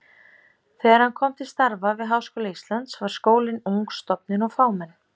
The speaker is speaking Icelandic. Þegar hann kom til starfa við Háskóla Íslands var skólinn ung stofnun og fámenn.